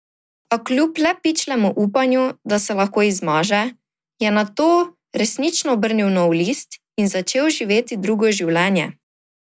A kljub le pičlemu upanju, da se lahko izmaže, je nato resnično obrnil nov list in začel živeti drugo življenje.